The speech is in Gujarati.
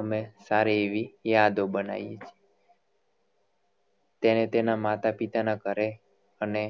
અમે સારી એવી યાદો બનાએ તેને તેના માતા પિતા ના ઘરે અને